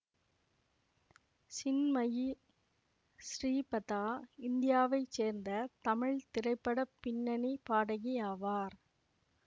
சின்மயி ஸ்ரீபதா இந்தியாவை சேர்ந்த தமிழ் திரைப்பட பின்னணி பாடகி ஆவார்